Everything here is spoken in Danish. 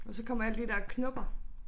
Og så kommer alle de der knopper